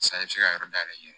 Sa i bɛ se ka yɔrɔ dayɛlɛ